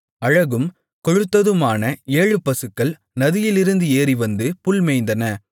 அழகும் கொழுத்ததுமான ஏழு பசுக்கள் நதியிலிருந்து ஏறிவந்து புல் மேய்ந்தன